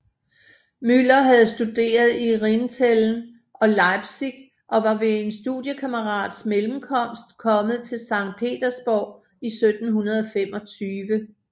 Müller havde studeret i Rinteln og Leipzig og var ved en studiekammerats mellemkomst kommet til Sankt Petersborg i 1725